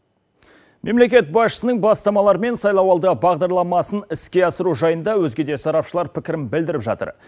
мемлекет басшысының бастамалары мен сайлауалды бағдарламасын іске асыру жайында өзге де сарапшылар пікірін білдіріп жатыр